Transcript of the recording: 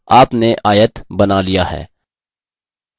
आपने आयत बना लिया है